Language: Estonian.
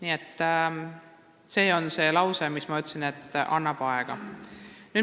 Lause, mida ma ütlesin, tähendas seda, et anname aega.